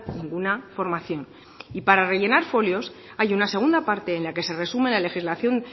ninguna formación y para rellenar folios hay una segunda parte en la que se resume la legislación